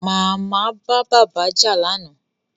Màmá bá bàbá jà lánàá